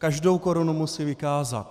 Každou korunu musí vykázat.